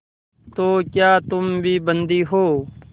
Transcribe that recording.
तो क्या तुम भी बंदी हो